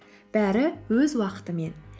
бәрі өз уақытымен